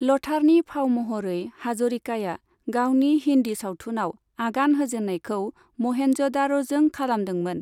ल'थारनि फाव महरै, हाजरिकाया गावनि हिन्दि सावथुनाव आगान होजेननायखौ महेन्जदार'जों खालामदोंमोन।